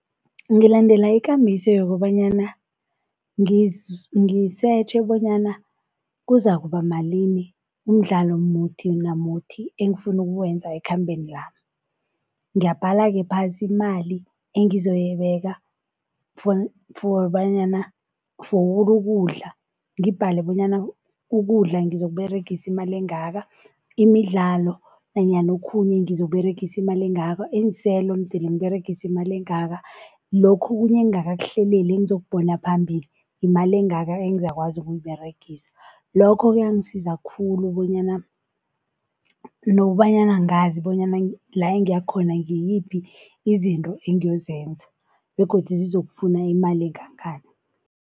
Ngilandela ikambiso yokobanyana ngisetjhe bonyana kuzakuba malini umdlalo muthi namuthi engifuni ukuwenza ekhambeni lami. Ngiyabhala-ke phasi imali engizoyibeka for bonyana for ukudla ngibhale bonyana ukudla ngizokuberegisa imali engaka, imidlalo nanyana okhunye ngizokuberegisa imali engaka, iinselo mdele ngiberegisa imali engaka. Lokhu okunye engingakakuhleleli engizokubona phambili, imali engaka engizakwazi ukuyiberegisa. Lokho-ke kuyangisize khulu bonyana nokobanyana ngazi bonyana la engiyakhona ngiziphi izinto engiyozenza begodu zizokufuna imali engangani.